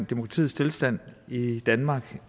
demokratiets tilstand i danmark